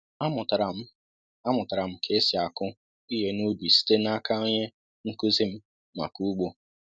A mụtara m A mụtara m ka e sị akụ ihe n'ubi site n'aka onye nkụzi m maka ugbo